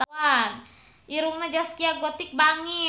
Irungna Zaskia Gotik bangir